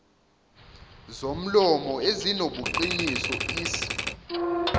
zomlomo ezinobuqiniso isib